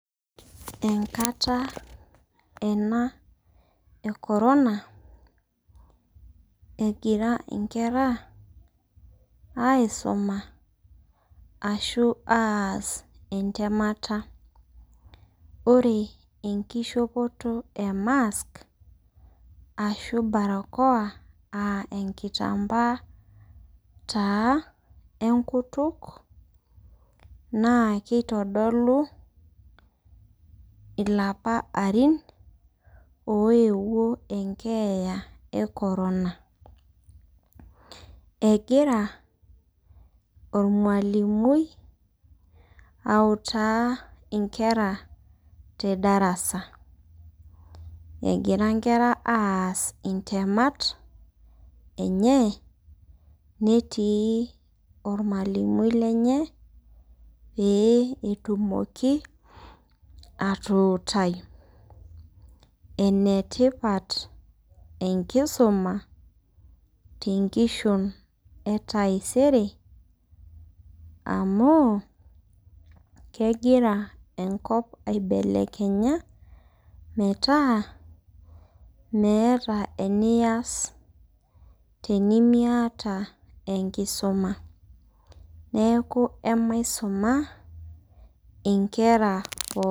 Enkata ena e korona, egira inkera aisoma ashu aas entemata. Ore enkishopoto e mask, aashu barakoa, aa enkitambaa enkutuk naa keitodolu ilapa arin oewuo enkeeya e korona. Egira olmwalimui autaa inkera te darasa, egira inkera aas intemat enye netii olmwallimui lenye , pee etumoki atuutai. Enetipat enkisuma te nkishon e taisere amu kegira enkop aibelekenya metaa meata enias tenimiata enkisoma. Neaku maiusuma inkera pookin.